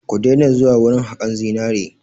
Ku daina zuwa wurin haƙan zinari!